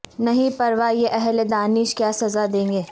نہیں پرواہ یہ اہل دانش کیا سزا دیں گے